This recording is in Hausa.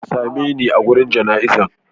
Ka same ne a wajan jana izan.